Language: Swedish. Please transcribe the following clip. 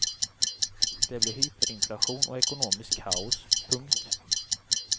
Det blir hyperinflation och ekonomiskt kaos. punkt